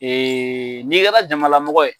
N'i kɛra jamalamɔgɔ ye